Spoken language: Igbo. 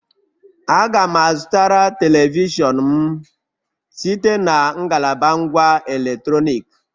Aga m a zụtara telivishọn m site na ngalaba ngwá electronic